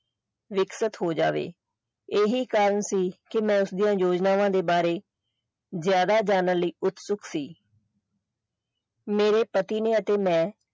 ਵਿਕਸਤ ਹੋ ਜਾਵੇ ਇਹੀ ਕਾਰਨ ਸੀ ਕਿ ਮੈਂ ਉਸਦੀਆਂ ਯੋਜਨਾਵਾਂ ਦੇ ਬਾਰੇ ਜ਼ਿਆਦਾ ਜਾਣਨ ਲਈ ਉਤਸੁਕ ਸੀ ਮੇਰੇ ਪਤੀ ਨੇ ਅਤੇ ਮੈਂ।